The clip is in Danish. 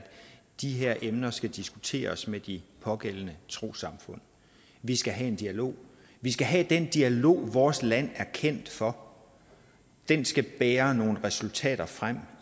de her emner skal diskuteres med de pågældende trossamfund vi skal have en dialog vi skal have den dialog vores land er kendt for den skal bære nogle resultater frem